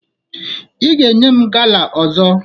Ị ga-enye m gala ọzọ!